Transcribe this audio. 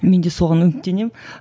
мен де соған үміттенемін